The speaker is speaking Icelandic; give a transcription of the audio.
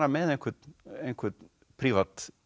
með einhvern einhvern prívat